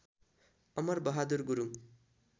Amar Bahadur Gurung